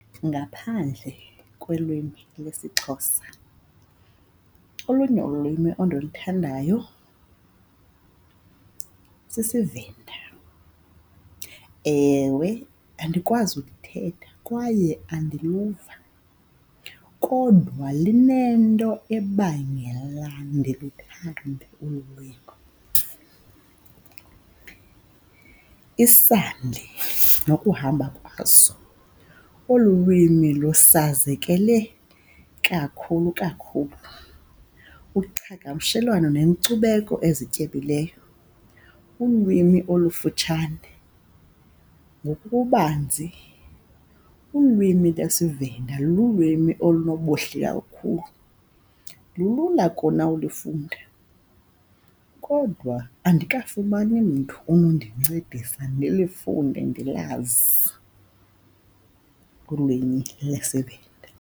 Ngaphandle kwelwimi lwesiXhosa olunye ulwimi ondiluthandayo sisiVenda. Ewe, andikwazi ukuthetha kwaye andiluva, kodwa linento ebangela ndiluthande olu lwimi. Isandi nokuhamba kwaso olu lwimi lusazekele kakhulu kakhulu uqhagamshelwano nenkcubeko ezityebileyo, ulwimi olufutshane ngokububanzi ulwimi lesiVenda lulwimi olunobuhle kakhulu. Lulula kona ulifunda kodwa andikafumani mntu unondincedisa ndilifunde ndilazi ulwimi lesiVenda.